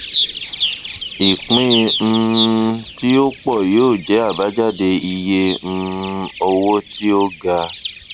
ìpín um tí ó pọ yóò jẹ abájáde iye um owó tí ó ga